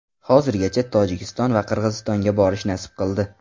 Hozirgacha Tojikiston va Qirg‘izistonga borish nasib qildi.